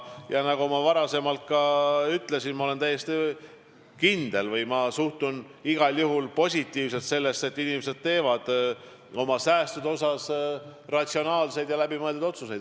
Ja nagu ma varem juba ütlesin, ma olen täiesti kindel selles või ma suhtun igal juhul positiivselt väljavaatesse, et inimesed teevad oma säästude osas ratsionaalseid ja läbimõeldud otsuseid.